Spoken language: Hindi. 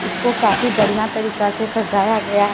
इसको काफी बढ़िया तरीका से सजाया गया है।